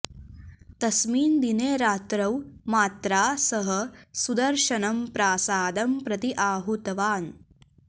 तस्मिन्दिने रात्रौ मात्रा सह सुदर्शनं प्रासादं प्रति आहूतवान्